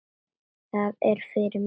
Það er fyrir mestu.